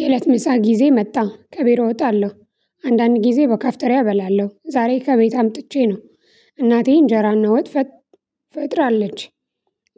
የእለት ምሳ ጊዜ መጣ ከቢሮ እወጣለሁ። አንዳንድ ጊዜ በካፍቴሪያ እበላለሁ። ዛሬ ከቤት አምጥቼ ነው እናቴ እንጀራና ፈጥ ፈጥራለች